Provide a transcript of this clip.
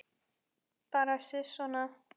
Bara sisona.